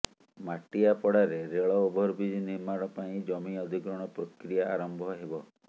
ମାଟିଆପଡାରେ ରେଳ ଓଭରବ୍ରିଜ୍ ନିର୍ମାଣ ପାଇଁ ଜମି ଅଧିଗ୍ରହଣ ପ୍ରକ୍ରିୟା ଆରମ୍ଭ ହେବ